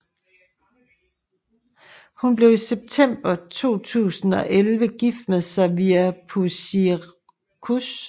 Hun blev i september 2011 gift med Xavier Puicercos